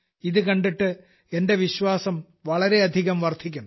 ഇതു കണ്ടിട്ട് എന്റെ വിശ്വാസം ഒരുപാട് വർദ്ധിക്കുന്നു